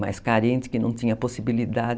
mais carente, que não tinha possibilidade.